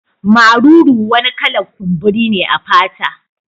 Maruru wani kala'r kumburi ne a fata.